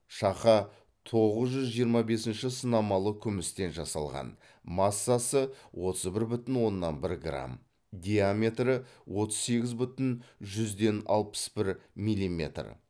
шақа тоғыз жүз жиырма бесінші сынамалы күмістен жасалған массасы отыз бір бүтін оннан бір грамм диаметрі отыз сегіз бүтін жүзден алпыс бір миллиметр